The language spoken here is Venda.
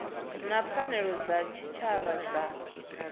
na pfanelo dza tshitshavha dza